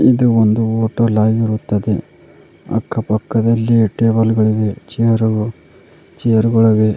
ಇದು ಒಂದು ಹೋಟೆಲ್ ಆಗಿರುತ್ತದೆ ಅಕ್ಕ ಪಕ್ಕದಲ್ಲಿ ಟೇಬಲ್ ಗಳಿವೆ ಚೇರು ಚೇರ್ ಗಳಿವೆ.